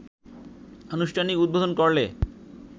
আনুষ্ঠানিক উদ্বোধন করলে